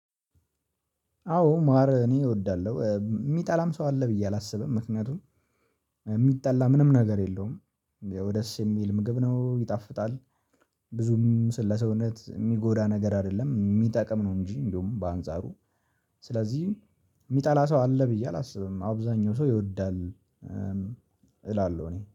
አዎ ማር እኔ እወዳለሁ የሚጠላም ሰው አለ ብዬ አላስብም። ምክንያቱም የሚጠላ ምንም ነገር የለውም ያው ደስ የሚል ምግብ ነው ይጣፍጣል። ብዙም ስለ ሰውነት የሚጎዳ ነገር አይደለም የሚጠቅም ነው እንጂ እንደውም በአንጻሩ። ስለዚህ የሚጠላ ሰው አለ ብዬ አላስብም አብዛኛው ሰው ይወዳል። እላለሁ እኔ